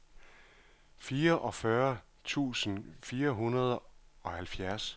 fireogfyrre tusind fire hundrede og halvfjerds